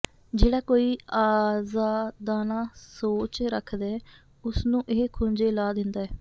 ਜਿਹੜਾ ਕੋਈ ਆਜ਼ਾਦਾਨਾ ਸੋਚ ਰੱਖਦੈ ਉਹਨੂੰ ਇਹ ਖੂੰਜੇ ਲਾ ਦਿੰਦਾ ਹੈ